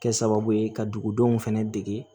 Kɛ sababu ye ka dugudenw fɛnɛ dege